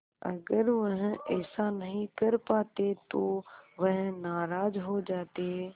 अगर वह ऐसा नहीं कर पाते तो वह नाराज़ हो जाते